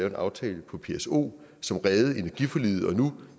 en aftale om pso som reddede energiforliget og nu